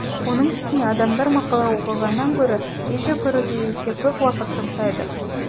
оның үстіне адамдар мақала оқығаннан гөрі видео көруге есе көп уақыт жұмсайды